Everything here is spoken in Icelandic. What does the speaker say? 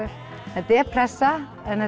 þetta er pressa en